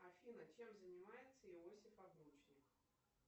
афина чем занимается иосиф обручник